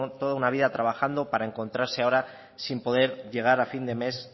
toda una vida trabajando para encontrarse ahora sin poder llegar a fin de mes